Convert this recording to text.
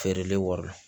Feerelen wari la